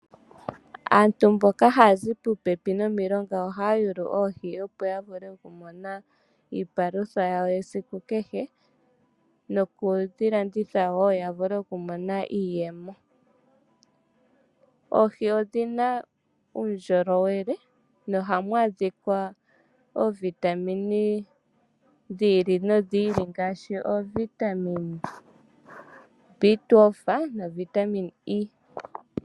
Aantu mboka haya zi popepi nomilonga ohaya yulu oohi, opo ya vule okumona iipalutha yawo yesiku kehe nokudhi landitha wo ya vule okumona iiyemo. Oohi odhi na uundjolowele nohamu adhika oovitamine dhi ili nodhi ili ngaashi oovitamine B12 novitamine E.